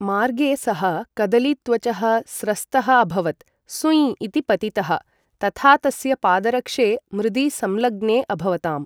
मार्गे सः कदलीत्वचः स्रस्तः अभवत्। सुय्ँ! इति पतितः, तथा तस्य पादरक्षे मृदि संलग्ने अभवताम्।